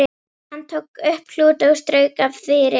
Hann tók upp klút og strauk af því ryk.